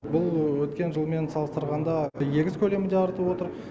бұл өткен жылмен салыстырғанда егіс көлемі де артып отыр